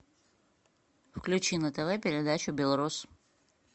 включи на тв передачу белрос